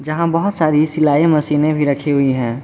यहां बहुत सारी सिलाई मशीन भी रखी हुई है।